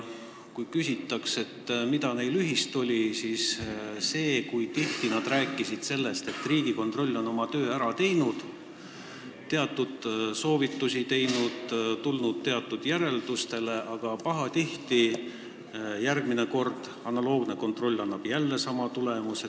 Kui küsida, mis neil ühist oli, siis see, et nad rääkisid tihti sellest, kuidas Riigikontroll on oma töö ära teinud, teatud soovitusi andnud ja järeldustele tulnud, aga pahatihti annab analoogne kontroll järgmisel korral jälle sama tulemuse.